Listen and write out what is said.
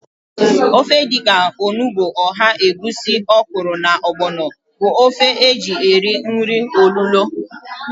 Ofe dịka onugbu, ọha, egwusi, ọkwụrụ na ọgbọnọ bụ ofe e ji eri nri olulo